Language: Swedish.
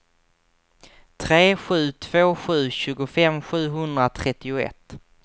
tre sju två sju tjugofem sjuhundratrettioett